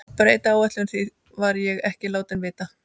Breyta áætluninni, því var ég ekki látinn vita.